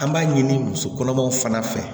An b'a ɲini muso kɔnɔmaw fana fɛ